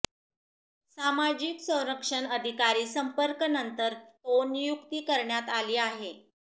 सामाजिक संरक्षण अधिकारी संपर्क नंतर तो नियुक्ती करण्यात आली आहे